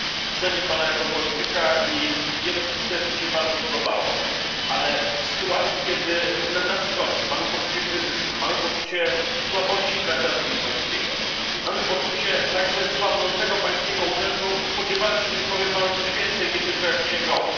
Cenię Pana jako polityka i wiele z tych tez mi się bardzo podobało. Ale w sytuacji, kiedy mamy poczucie kryzysu, mamy poczucie słabości traktatu lizbońskiego, mamy poczucie także słabnącego pańskiego urzędu, spodziewałem się, że powie Pan coś więcej, nie tylko jak księgowy.